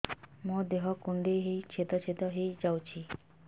ମୋ ଦେହ କୁଣ୍ଡେଇ ହେଇ ଛେଦ ଛେଦ ହେଇ ଯାଉଛି